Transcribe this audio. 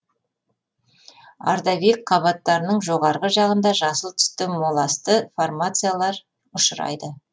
ордовик қабаттарының жоғарғы жағында жасыл түсті моласты формациялар ұшырайды